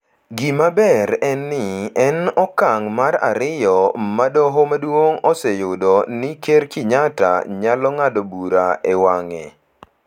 Gima ber en ni, en okang’ mar ariyo ma Doho Maduong’ oseyudo ni Ker Kenyatta nyalo ng’ado bura e wang’e.